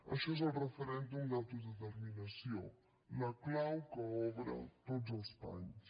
això és el referèndum d’autodeterminació la clau que obre tots els panys